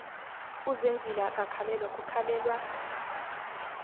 uzenzile akakhalelwa kukhalelwa